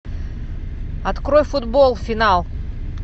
открой футбол финал